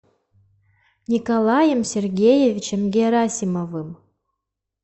николаем сергеевичем герасимовым